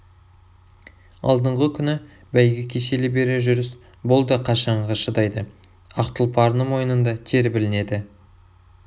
алдыңғы күні бәйгі кешелі бері жүріс бұл да қашанғы шыдайды ақ тұлпардың мойынында тер білінеді